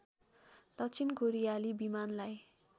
दक्षिण कोरियाली विमानलाई